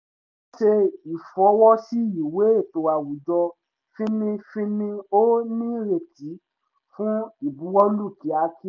ṣe ìfọwọ́ sí ìwé ètò àwùjọ fínnífínní ó ní ìrètí fún ìbuwọ́lù kíákí